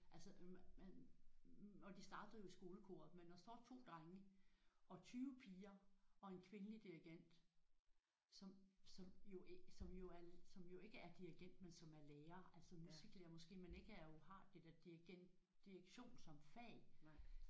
Altså man og de startede jo i skolekoret men der står 2 drenge og 20 piger og en kvindelig dirigent som som jo som jo er som jo ikke er dirigent men som er lærer altså musiklærer måske men ikke er jo har dirigent direktion som fag